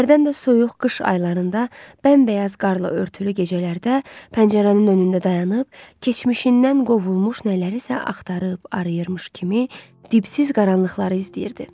Hərdən də soyuq qış aylarında bəmbəyaz qarla örtülü gecələrdə pəncərənin önündə dayanıb, keçmişindən qovulmuş nələri isə axtarıb arayırmış kimi dibsiz qaranlıqları izləyirdi.